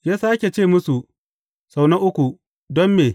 Ya sāke ce musu, sau na uku, Don me?